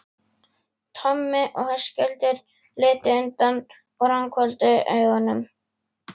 Tommi og Höskuldur litu undan og ranghvolfdu augunum.